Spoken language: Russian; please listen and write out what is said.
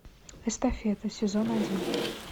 эстафета сезон один